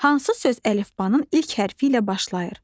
Hansı söz əlifbanın ilk hərfi ilə başlayır?